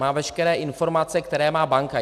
Má veškeré informace, které má banka.